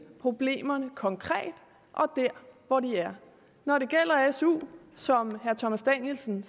problemerne konkret og der hvor de er når det gælder su som herre thomas danielsen